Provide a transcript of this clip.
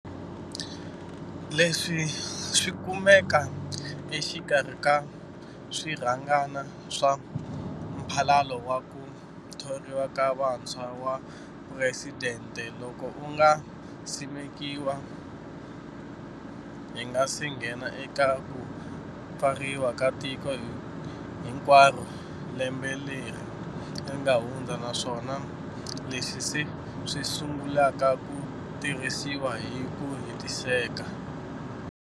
Leswi swi kumeka exikarhi ka swirhangana swa Mphalalo wa ku Thoriwa ka Vantshwa wa Phuresidente, loku nga simekiwa mavhiki hi nga se nghena eka ku pfariwa ka tiko hinkwaro lembe leri nga hundza naswona leswi se swi sungulaka ku tirhisiwa hi ku hetiseka.